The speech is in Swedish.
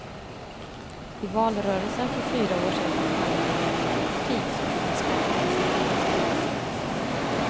I valrörelsen för fyra år sedan handlade det om vilket parti som kunde spara mest.